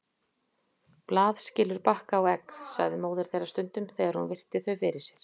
Blað skilur bakka og egg, sagði móðir þeirra stundum þegar hún virti þau fyrir sér.